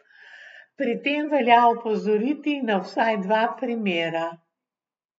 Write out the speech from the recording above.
Pri tem velja opozoriti na vsaj dva primera.